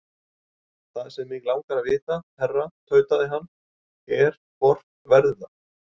Það sem mig langar að vita, herra tautaði hann, er, hvort verður það?